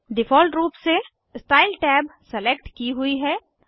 default रूप से style tab select की हुई है